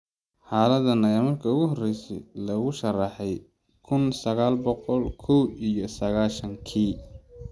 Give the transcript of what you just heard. Xaaladdan ayaa markii ugu horreysay lagu sharraxay kun sagal boqol kow iyo sagashan-kii.